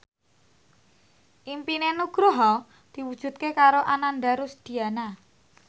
impine Nugroho diwujudke karo Ananda Rusdiana